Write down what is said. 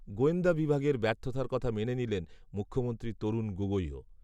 গোয়েন্দা বিভাগের ব্যর্থতার কথা মেনে নিলেন মুখ্যমন্ত্রী তরুণ গগৈও